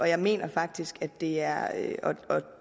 jeg mener faktisk at det er at